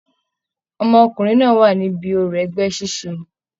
Ọmọkùnrin náà wà níbí òrò ẹgbẹ ṣiṣe.